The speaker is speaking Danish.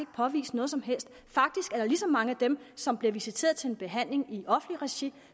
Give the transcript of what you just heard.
påvise noget som helst faktisk er der lige så mange af dem som bliver visiteret til en behandling i offentligt regi